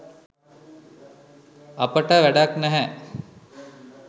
අපිට වැඩක් නැහැ.